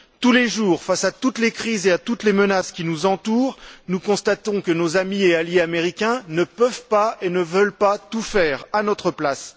tous les jours, face à toutes les crises et à toutes les menaces qui nous entourent, nous constatons que nos amis et alliés américains ne peuvent pas et ne veulent pas tout faire à notre place.